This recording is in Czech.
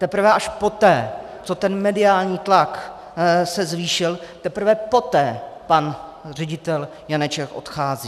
Teprve až poté, co ten mediální tlak se zvýšil, teprve poté pan ředitel Janeček odchází.